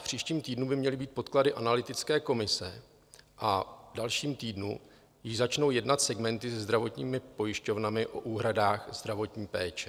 V příštím týdnu by měly být podklady analytické komise a v dalším týdnu již začnou jednat segmenty se zdravotními pojišťovnami o úhradách zdravotní péče.